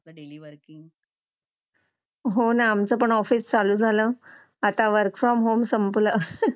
daily working हो ना आमचं पण ऑफिस चालू झालं आता वर्क फ्रॉम होम संपलं